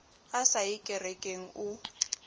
a sa ye kerekeng o